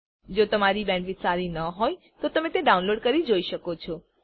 જો તમારી બેન્ડવિડ્થ સારી ન હોય તો તમે ડાઉનલોડ કરી તે જોઈ શકો છો